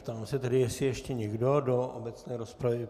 Ptám se tedy, jestli ještě někdo do obecné rozpravy.